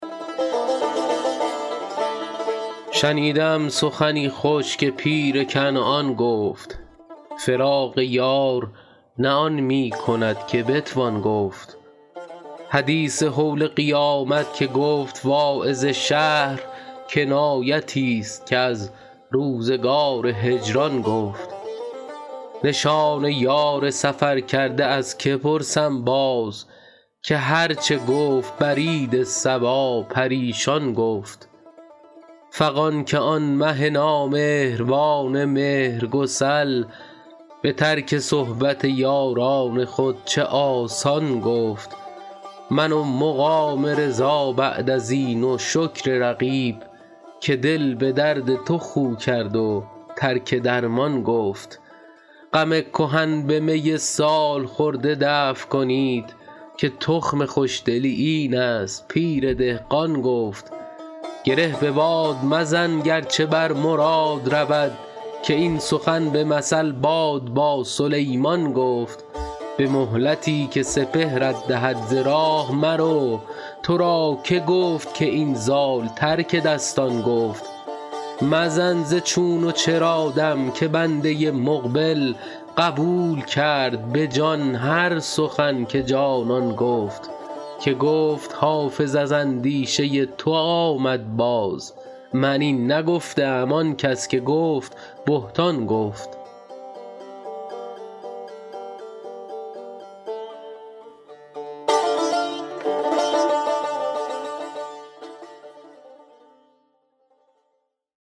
شنیده ام سخنی خوش که پیر کنعان گفت فراق یار نه آن می کند که بتوان گفت حدیث هول قیامت که گفت واعظ شهر کنایتی ست که از روزگار هجران گفت نشان یار سفرکرده از که پرسم باز که هر چه گفت برید صبا پریشان گفت فغان که آن مه نامهربان مهرگسل به ترک صحبت یاران خود چه آسان گفت من و مقام رضا بعد از این و شکر رقیب که دل به درد تو خو کرد و ترک درمان گفت غم کهن به می سال خورده دفع کنید که تخم خوش دلی این است پیر دهقان گفت گره به باد مزن گر چه بر مراد رود که این سخن به مثل باد با سلیمان گفت به مهلتی که سپهرت دهد ز راه مرو تو را که گفت که این زال ترک دستان گفت مزن ز چون و چرا دم که بنده مقبل قبول کرد به جان هر سخن که جانان گفت که گفت حافظ از اندیشه تو آمد باز من این نگفته ام آن کس که گفت بهتان گفت